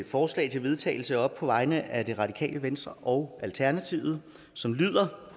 forslag til vedtagelse op på vegne af det radikale venstre og alternativet som lyder